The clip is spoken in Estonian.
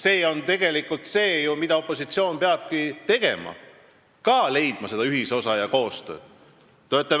See on tegelikult see, mida opositsioon peabki tegema – leidma ka ühisosa ja tegema koostööd.